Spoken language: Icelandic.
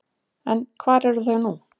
En hvar eru þau nú?